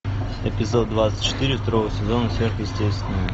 эпизод двадцать четыре второго сезона сверхъестественное